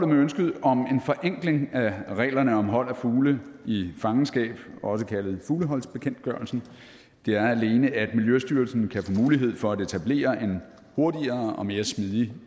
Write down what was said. med ønsket om en forenkling af reglerne om hold af fugle i fangenskab også kaldet fugleholdsbekendtgørelsen er alene at miljøstyrelsen kan få mulighed for at etablere en hurtigere og mere smidig